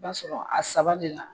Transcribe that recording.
I b'a sɔrɔ a saba de la